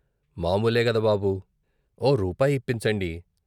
మామూలేగద బాబూ ఓ రూపాయిప్పించండి.